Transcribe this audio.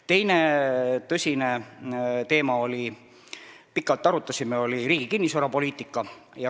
Teine tõsine teema, mida me pikalt arutasime, oli riigi kinnisvarapoliitika.